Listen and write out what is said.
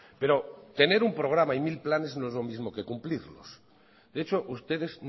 pero tener un programa y mil planes no es lo mismo que cumplirlos de hecho ustedes